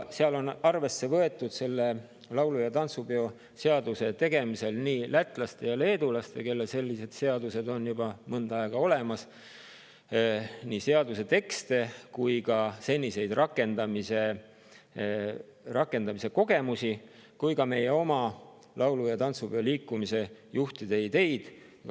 Seal on arvesse võetud, selle laulu‑ ja tantsupeo seaduse tegemisel, nii lätlaste ja leedulaste seaduste tekste – neil on sellised seadused juba mõnda aega olemas – kui ka seniseid rakendamiskogemusi ning meie oma laulu‑ ja tantsupeoliikumise juhtide ideid.